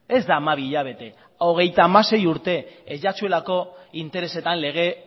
ez da hamabi hilabete hogeita hamasei urte ez zaizuelako interesetan lege